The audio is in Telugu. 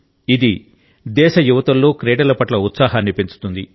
ఇది దేశ యువతుల్లో క్రీడల పట్ల ఉత్సాహాన్ని పెంచుతుంది